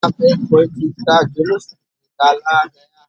यहाँ पे कोई दूसरा जुलूस निकाला ।